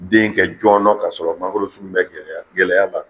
Den kɛ jɔnɔ k'a sɔrɔ mangoro sun ma gɛlɛya ta.